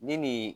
Ni nin